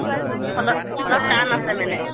অলপ টান আছে মানে